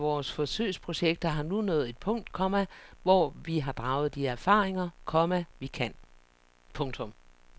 De fleste af vores forsøgsprojekter har nu nået et punkt, komma hvor vi har draget de erfaringer, komma vi kan. punktum